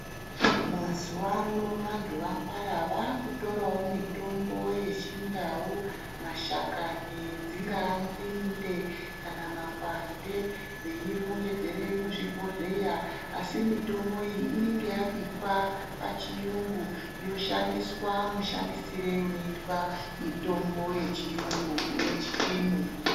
Mazuano vanhu vangwara vaakutorawo mitombo yechindau, mashakani dzingaa nzinde, kana makwande veirongedzere muzvibhohleya, asi mitombo iyi inenge yabikwa pachiyungu ,yoshandiswa mashandisiro anoitwe wechiyungu une chipimo.